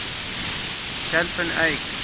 jan van eyck